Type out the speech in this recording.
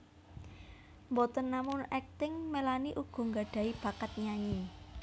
Boten namung akting Melanie ugi nggadhahi bakat nyanyi